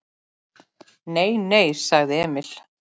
Nei, nei, sagði Emil.